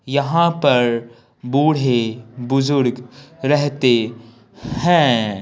यहां पर बूढ़े बुजुर्ग रहते हैं।